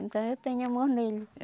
Então eu tenho amor nele.